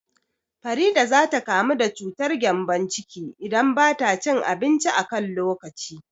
Farida za ta kamu da cutar gƴambon ciki idan bata cin abinci a kan lokaci